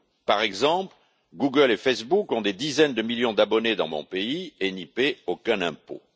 Par exemple, Google et Facebook ont des dizaines de millions d'abonnés dans mon pays et n'y paient aucun impôt.